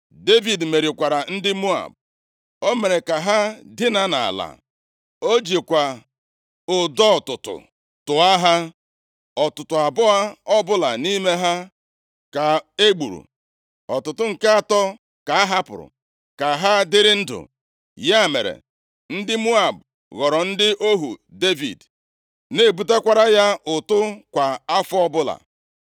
Devid merikwara ndị Moab. + 8:2 Ndị Moab bụ ndị agbụrụ Lọt \+xt Jen 19:37\+xt*, ha bichiri oke ala ndị Izrel nʼakụkụ ọwụwa anyanwụ nke Osimiri Nwụrụ anwụ. Sọl lụgburu ha nʼoge gara aga. \+xt 1Sa 14:47\+xt* Devid zigara ndị ezinaụlọ ya na nke ndị ikwu ya nʼala Moab, mgbe ọ gbara ọsọ ndụ site nʼaka Sọl. \+xt 1Sa 22:3-4\+xt* Agbụrụ nna nna ochie Devid sitekwara nʼala Moab. \+xt Rut 1:22; 4:22\+xt* O mere ka ha dinaa nʼala. O jikwa ụdọ ọtụtụ tụa ha. Ọtụtụ abụọ ọbụla nʼime ha ka egburu. Ọtụtụ nke atọ ka a hapụrụ ka ha dịrị ndụ. Ya mere, ndị Moab ghọrọ ndị ohu Devid, na-ebutakwara ya ụtụ kwa afọ ọbụla.